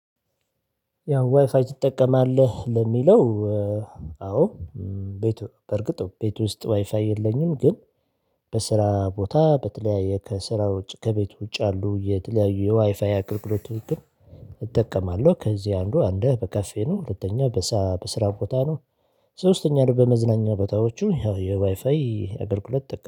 ያው ዋይፋይ ትጠቀማለህ ለሚለው? አዎ። ቤት በርግጥ ቤት ውስጥ ዋይፋይ የለኝም። ግን በስራ ቦታ በተለያየ ከስራ ውጭ ከቤት ውጭ አሉ የተለያዩ የዋይፋይ አገልግሎት ውጤት ግን እጠቀማለሁ። ከዚህ አንዱ አንድ በካፌ ነው። ሁለተኛ በስራ ቦታ ነው። ሶስተኛ በመዝናኛ ቦታዎቹ ያው የዋይፋይ የአገልግሎት